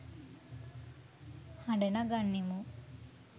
හඬ නගන්නෙමු.